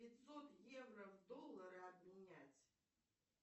пятьсот евро в доллары обменять